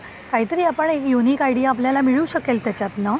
काही तरी आपण यूनिक आयडीया आपल्याला मिळू शकेल त्याच्यातन.